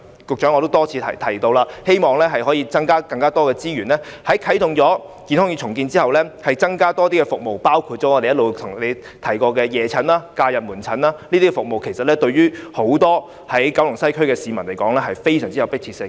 局長，我已多次提出，希望可以增加資源，在健康院重建後增設更多的服務，包括我們一直向局長提出的夜診和假日門診等，這些服務對九龍西的市民而言非常有迫切性。